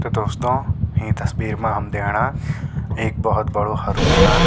तो दोस्तों यीं तस्वीर मा हम दयेणा एक भौत बडू हरु मैदान।